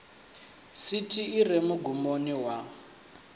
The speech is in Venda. sithi i re mugumoni wa